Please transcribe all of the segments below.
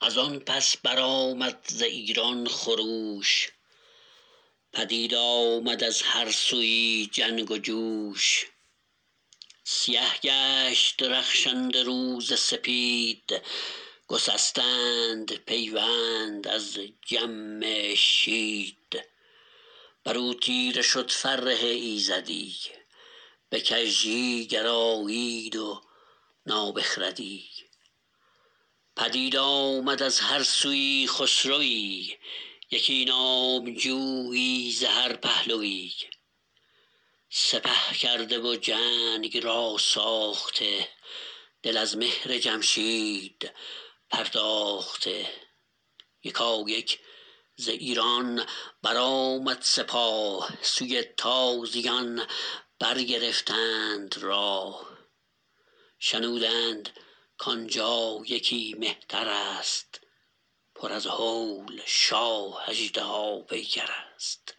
از آن پس برآمد ز ایران خروش پدید آمد از هر سویی جنگ و جوش سیه گشت رخشنده روز سپید گسستند پیوند از جمشید بر او تیره شد فره ایزدی به کژی گرایید و نابخردی پدید آمد از هر سویی خسروی یکی نامجویی ز هر پهلوی سپه کرده و جنگ را ساخته دل از مهر جمشید پرداخته یکایک ز ایران برآمد سپاه سوی تازیان برگرفتند راه شنودند کان جا یکی مهتر است پر از هول شاه اژدها پیکر است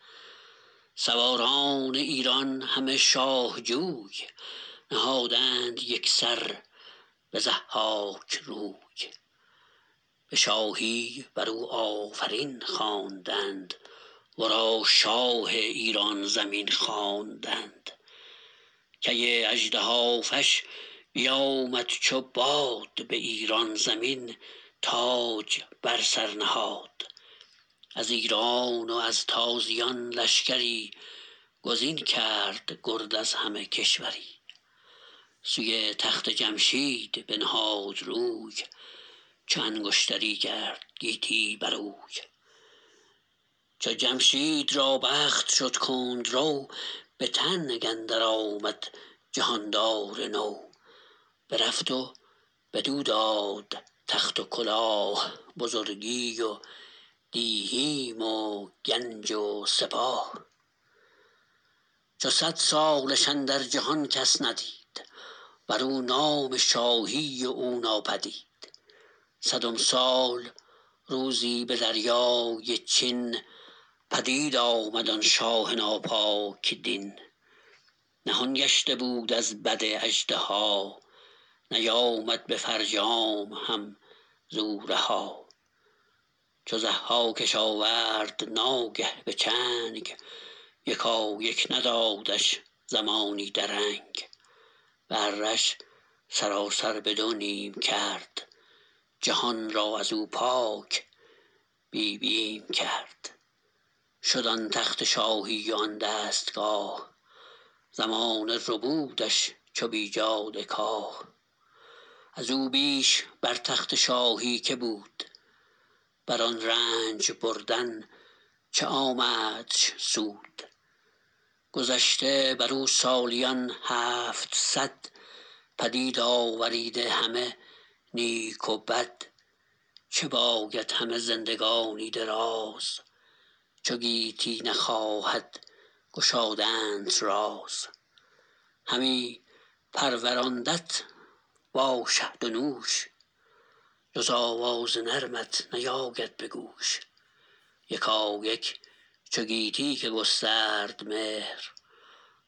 سواران ایران همه شاه جوی نهادند یک سر به ضحاک روی به شاهی بر او آفرین خواندند ورا شاه ایران زمین خواندند کی اژدهافش بیامد چو باد به ایران زمین تاج بر سر نهاد از ایران و از تازیان لشکری گزین کرد گرد از همه کشوری سوی تخت جمشید بنهاد روی چو انگشتری کرد گیتی بروی چو جمشید را بخت شد کندرو به تنگ اندر آمد جهاندار نو برفت و بدو داد تخت و کلاه بزرگی و دیهیم و گنج و سپاه چو صد سالش اندر جهان کس ندید بر او نام شاهی و او ناپدید صدم سال روزی به دریای چین پدید آمد آن شاه ناپاک دین نهان گشته بود از بد اژدها نیامد به فرجام هم ز او رها چو ضحاکش آورد ناگه به چنگ یکایک ندادش زمانی درنگ به اره ش سراسر به دو نیم کرد جهان را از او پاک بی بیم کرد شد آن تخت شاهی و آن دستگاه زمانه ربودش چو بیجاده کاه از او بیش بر تخت شاهی که بود بر آن رنج بردن چه آمدش سود گذشته بر او سالیان هفتصد پدید آوریده همه نیک و بد چه باید همه زندگانی دراز چو گیتی نخواهد گشادنت راز همی پروراندت با شهد و نوش جز آواز نرمت نیاید به گوش یکایک چو گویی که گسترد مهر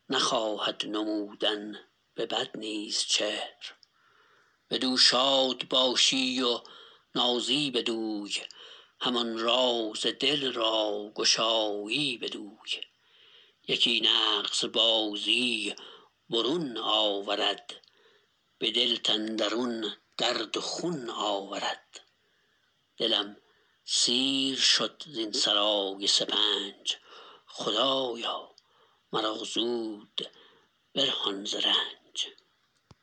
نخواهد نمودن به بد نیز چهر بدو شاد باشی و نازی بدوی همان راز دل را گشایی بدوی یکی نغز بازی برون آورد به دلت اندرون درد و خون آورد دلم سیر شد زین سرای سپنج خدایا مرا زود برهان ز رنج